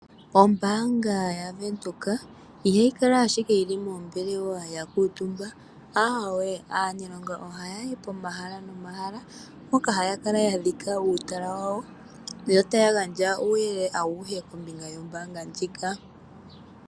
Ombaanga yaVenduka ihayi kala ashike yili moombelewa ya kuutumba, aweee, aaniilonga ohaya yi pomahala nomahala mpoka haya kala ya dhika uutala wawo, yo taya gandja uuyelele awuhe kombinga yombaanga ndjika.